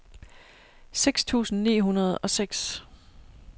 seks tusind ni hundrede og seks